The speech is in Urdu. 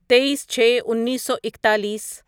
تئیس چھے انیسو اکتالیس